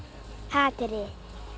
hatrið en